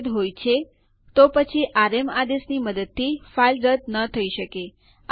હવે યુઝર ડક રદ થઇ ગયેલ છે